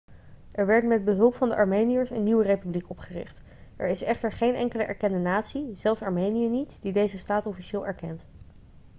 er werd met behulp van de armeniërs een nieuwe republiek opgericht. er is echter geen enkele erkende natie zelfs armenië niet die deze staat officieel erkent